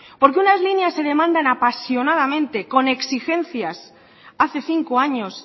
por qué unas líneas demandan apasionadamente con exigencias hace cinco años